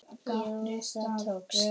Jú, það tókst!